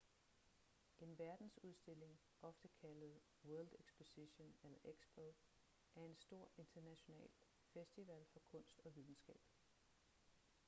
en verdensudstilling ofte kaldet world exposition eller expo er en stor international festival for kunst og videnskab